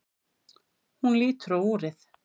Hún lítur á úrið.